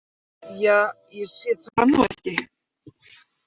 Ja, ég sé það nú ekki.